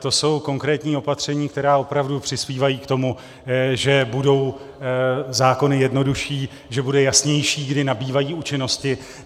To jsou konkrétní opatření, která opravdu přispívají k tomu, že budou zákony jednodušší, že budou jasnější, kdy nabývají účinnosti.